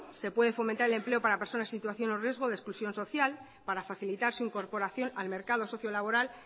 se puede fomentar el empleo para personas en situación o riesgo de exclusión social para facilitar su incorporación al mercado sociolaboral